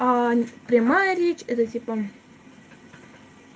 прямая речь это типа